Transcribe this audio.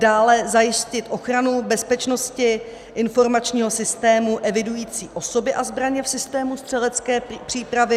Dále zajistit ochranu bezpečnosti informačního systému evidující osoby a zbraně v systému střelecké přípravy.